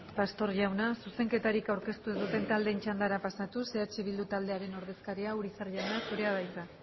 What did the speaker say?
pastor jauna zuzenketarik aurkeztu ez duten taldeen txandara pasatuz eh bildu taldearen ordezkariak urizar jauna zurea da hitza